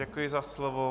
Děkuji za slovo.